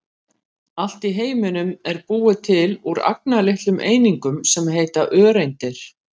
Allt í heiminum er búið til úr agnarlitlum einingum sem heita öreindir.